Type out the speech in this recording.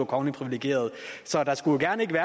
kongeligt privilegerede